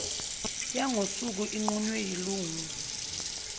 yangosuku inqunywe yilungu